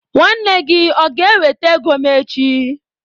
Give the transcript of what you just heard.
Nwanne gi o ga-eweta ego m echi?